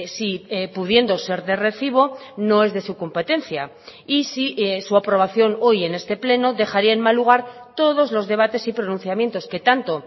sí pudiendo ser de recibo no es de su competencia y si su aprobación hoy en este pleno dejaría en mal lugar todos los debates y pronunciamientos que tanto